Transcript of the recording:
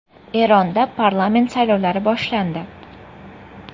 Eronda parlament saylovlari boshlandi.